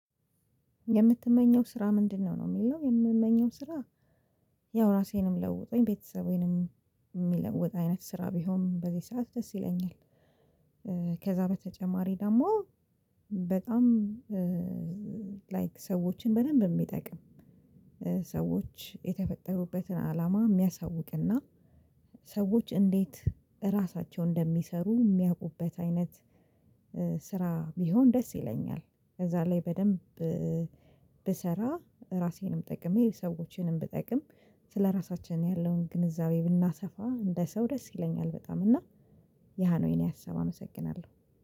የምትመኘው ስራ ምንድነው ነው የሚለው የምመኘው ስራ ያው ራሴንም ለውጦኝ ቤተሰቤንም የሚለውጥ አይነት ስራ ቢሆን በዚህ ሰዓት ደስ ይለኛል። ከዛ በተጨማሪ ደግሞ በጣም ላይክ ሰዎችን በደንብ የሚጠቅም ሰዎች የተፈጠሩበትን አላማ የሚያሳውቅና ሰዎች እንዴት ራሳቸው እንደሚሰሩ የሚያውቁበት አይነት ስራ ቢሆን ደስ ይለኛል። ከዛ ላይ በደንብ ብሰራ ራሴንም ጠቅሜ ሰዎችንም ብጠቅም ስለራሳችን ያለውን ግንዛቤ ብናሰፋ እንደ ሰው ደስ ይለኛል በጣም። እና ያ ነው የኔ ሀሳብ። አመሰግናለሁ።